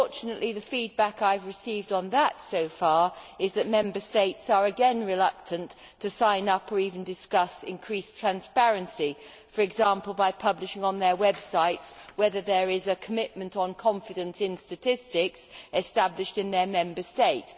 Unfortunately, the feedback I have received on that so far is that Member States are again reluctant to sign up or even discuss increased transparency for example, by publishing on their websites whether there is a commitment on confidence in statistics established in their Member State.